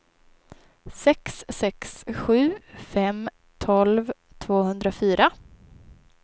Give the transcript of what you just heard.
sex sex sju fem tolv tvåhundrafyra